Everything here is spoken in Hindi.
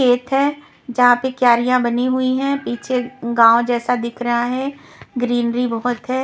खेत है जहां पे क्यारियां बनी हुई है पीछे गांव जैसा दिख रहा है ग्रीनरी बहुत है।